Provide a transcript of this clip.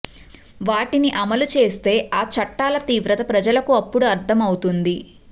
వాటిని అమలు చేస్తే ఆ చట్టాల తీవ్రత ప్రజలకు అప్పుడు అర్ధం అవుతుంది